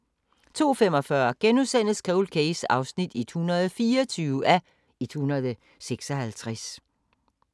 02:45: Cold Case (124:156)*